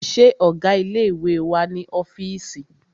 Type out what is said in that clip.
Ṣé ọgá ilé ìwé wà ní ọ́fìísì?